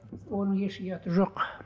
оның еш ұяты жоқ